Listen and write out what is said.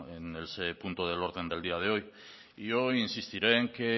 en el punto del orden del día de hoy yo insistiré en que